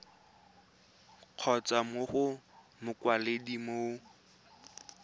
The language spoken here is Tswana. kgotsa mo go mokwaledi mo